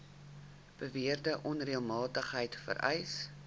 beweerde onreëlmatigheid vereis